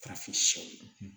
Farafinw ye